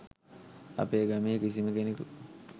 අපේ ගමේ කිසිම කෙනෙකු